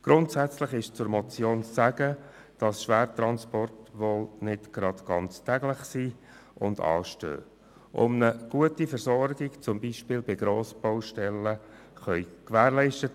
Grundsätzlich ist zur Motion zu sagen, dass Schwertransporte nicht täglich anstehen, um eine gute Versorgung zum Beispiel bei Grossbaustellen zu gewährleisten.